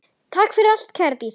Takk fyrir allt kæra Dísa.